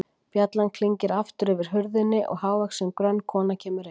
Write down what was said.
Bjallan klingir aftur yfir hurðinni og hávaxin, grönn kona kemur inn.